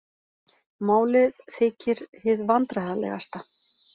Málið þykir hið vandræðalegasta